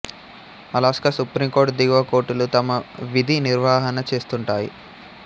Alaska supreme court దిగువ కోర్టులు తమ విధి నిర్వహణ చేస్తుంటాయి